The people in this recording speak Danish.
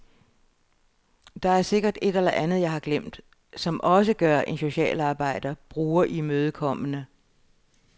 Der er sikkert et eller andet jeg har glemt, som også gør en socialarbejder brugerimødekommende.